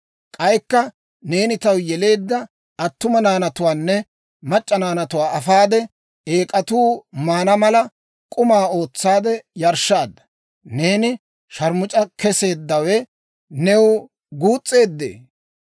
«‹ «K'aykka, neeni taw yeleedda attuma naanatuwaanne mac'c'a naanatuwaa afaade, eek'atuu maana mala k'umaa ootsaade yarshshaadda. Neeni sharmus'a keseeddawe new guus's'eeddee?